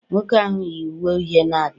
nwoke ahụ yi uwe uhie na-abịa